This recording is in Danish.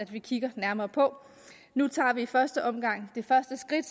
vi kigger nærmere på nu tager vi i første omgang det første skridt